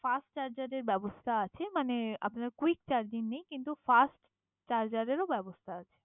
fast charger এর ব্যবস্থা আছে মানে আপনার কুইক চার্জিং নেই কিন্তু ফাস্ট চার্জরেরও ব্যবস্থা আছে